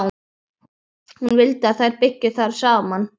Hún vildi að þær byggju þar saman.